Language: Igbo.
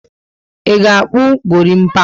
I ga akpu gorimpa?